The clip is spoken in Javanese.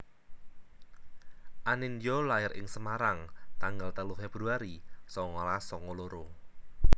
Anindya lair ing Semarang tanggal telu Februari songolas songo loro